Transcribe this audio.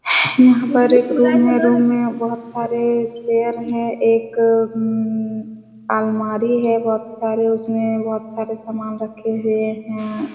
यहाँ पे एक रूम है। रूम में बहोत सारे चैर है। एक उम अलमारी है बहोत सारे उसमे बहोत सारे सामान रखे हुए हैं।